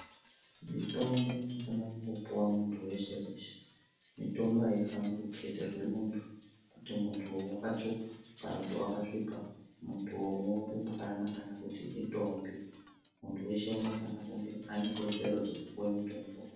Mitombo inofana kungo puwa muntu weshe weshe mitombo ayifani kuketerwe muntu kuti muntu wakatsvuka kana kuti wakasvipa muntu mu rumbwana kana kuti indombi muntu weshe anofana kunge ane kodzero dzekupuwe mitombo.